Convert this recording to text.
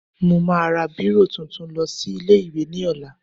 Mo máa ra bírò tuntun lọ sí ilé-ìwé ní ọ̀la